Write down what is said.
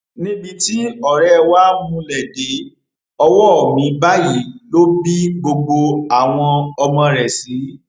níbi tí ọrẹ wa múlé dé ọwọ mi báyìí ló bí gbogbo àwọn ọmọ rẹ sí